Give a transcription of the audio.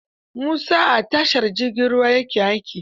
Musa a tashar jirgin ruwa ya ke aiki?